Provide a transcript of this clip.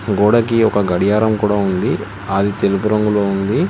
గోడకి ఒక గడియారం కూడా ఉంది ఆది తెలుపు రంగులో ఉంది.